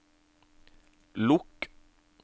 lukk